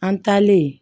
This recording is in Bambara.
An taalen